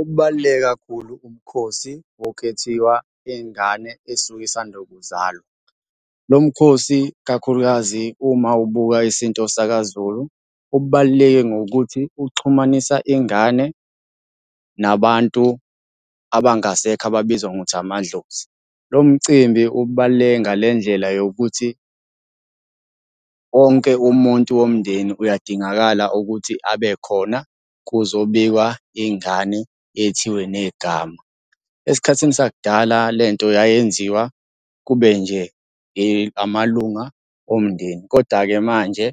Okubaluleke kakhulu kubukhosi bokwethiwa ingane esuke isanda kuzalwa. Lo mkhosi, ikakhulukazi uma ubuka isintu sakaZulu, ubaluleke ngokuthi uxhumanisa ingane nabantu abangasekho ababizwa ngokuthi amadlozi. Lo mcimbi ubaluleke nga le ndlela yokuthi wonke umuntu womndeni uyadingakala ukuthi abe khona kuzobikwa ingane yethiwe negama. Esikhathini sakudala le nto yayenziwa kube nje amalunga omndeni, koda-ke manje